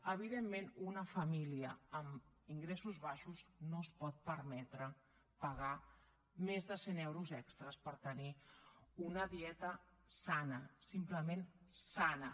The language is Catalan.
evidentment una família amb ingressos baixos no es pot permetre pagar més de cent euros extres per tenir una dieta sana simplement sana